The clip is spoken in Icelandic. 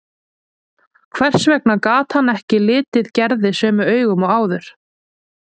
Hvers vegna gat hann ekki litið Gerði sömu augum og áður?